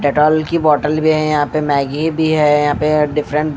Dettol की bottle भी है यहां पे मैगी भी है यहां पे डिफरेंट --